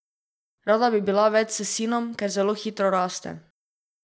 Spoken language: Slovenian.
Rada bi bila več s sinom, ker zelo hitro raste ...